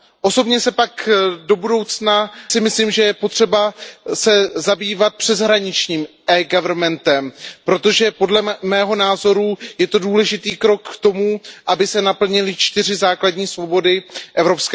Osobně si pak do budoucna myslím, že je potřeba se zabývat přeshraničním eGovernmentem, protože podle mého názoru je to důležitý krok k tomu, aby se naplnily čtyři základní svobody EU.